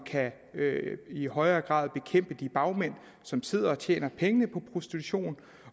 i højere grad kan bekæmpe de bagmænd som sidder og tjener pengene på prostitution